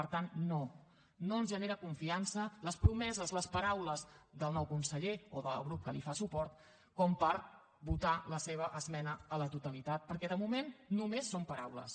per tant no no ens generen confiança les promeses les paraules del nou conseller o del grup que li fa suport per votar la seva esmena a la totalitat perquè de moment només són paraules